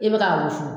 I bɛ ka wusu